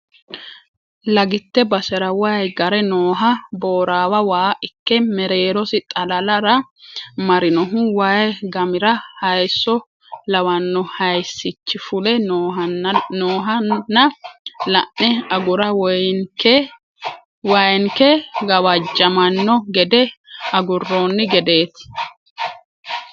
Lagite basera waayi gare nooha boorawa waa ikke mereerosi xalalara marinohu waayi gamira hayiso lawano hayisichi fule noohanna la'ne agura waayinke gawajamano gede agurooni gedeti.